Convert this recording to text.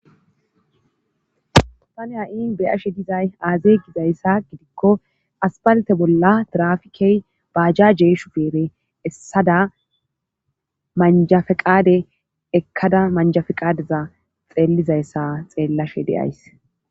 tani ha7i beyashe dizay aazey gizayssa gidikko aspalte bolla trafikey baajja jeeshu beere essada manjafeqaade ekkada manjafeqaadeza xeellizayssa xeellashe deays